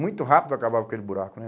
Muito rápido acabava aquele buraco, né?